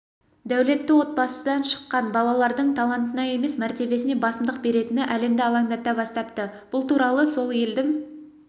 дәулетті отбасыдан шыққан балалардың талантына емес мәртебесіне басымдық беретіні әлемді алаңдата бастапты бұл туралы сол елдің